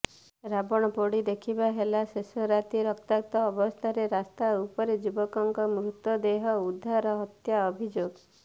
ରାବଣପୋଡି ଦେଖିବା ହେଲା ଶେଷ ରାତି ରକ୍ତାକ୍ତ ଅବସ୍ଥାରେ ରାସ୍ତା ଉପରୁ ଯୁବକଙ୍କ ମୃତଦେହ ଉଦ୍ଧାର ହତ୍ୟା ଅଭିଯୋଗ